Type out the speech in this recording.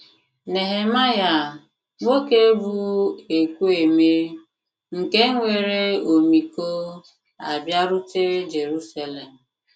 Nehemaịa — nwoke bụ́ ekwu eme, nke nwere ọmịiko — abịarute Jeruselem